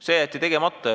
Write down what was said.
See jäeti tegemata.